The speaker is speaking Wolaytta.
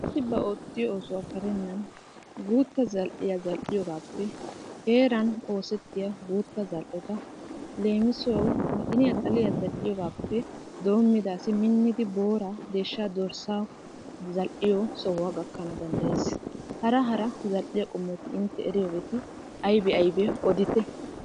Asi ba oottiyo oosuwa karennan guutta zal"iyaa zal"iyoogappe heeran oosettiya guutta zal"etta leemisuwaw maxiniyaa, xalliyaa zal"iyoogappe doomida asi minida booraa deeshsha, dorssaa zal"iyoo sohuwa gakkana danddaayees. Hara hara zal"iyaa qommoti intte eriyooheeti aybbe aybbe odite.